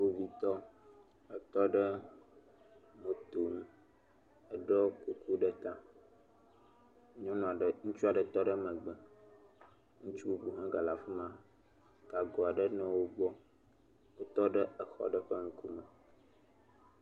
Kpovitɔ, etɔ ɖe moto ŋu, eɖɔ kuku ɖe ta. Nyɔnu aɖe, ŋutsu aɖe tɔ ɖe megbe. Ŋutsu bubu hã gale afi ma, gago aɖe nɔ wo gbɔ. Wotɔ ɖe xɔ aɖe ƒe ŋkume.